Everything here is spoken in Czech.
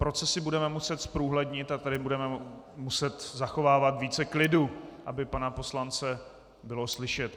Procesy budeme muset zprůhlednit a tady budeme muset zachovávat více klidu, aby pana poslance bylo slyšet.